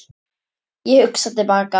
Ég hugsa til baka.